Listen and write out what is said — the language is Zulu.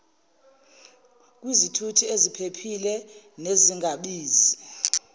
kwizithuthi eziphephile nezingabizi